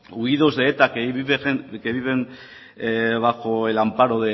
huidos de eta que viven bajo el amparo